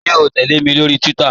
Ṣẹ̀ o tẹlẹ̀ mi lórí Twitter?